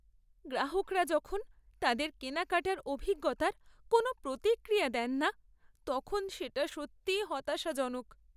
গ্রাহকরা যখন তাদের কেনাকাটার অভিজ্ঞতার কোনো প্রতিক্রিয়া দেন না তখন সেটা সত্যি হতাশাজনক।